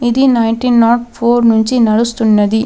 ఇది nineteen nought four నుంచి నడుస్తున్నది.